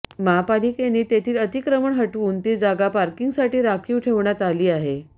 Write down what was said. महापालिकेने तेथील अतिक्रमण हटवून ती जागा पार्किंगसाठी राखीव ठेवण्यात आली आहे